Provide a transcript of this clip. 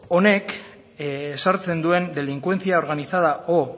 honek ezartzen duen delincuencia organizada o